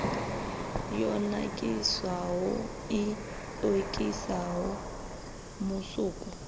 yo nakiswaho i okisaho musuku